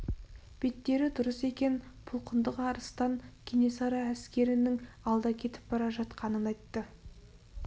беттері дұрыс екен пұлқындық арыстан кенесары әскерінің алда кетіп бара жатқанын айтты